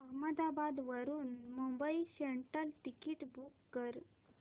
अहमदाबाद वरून Mumbai central ticket book कर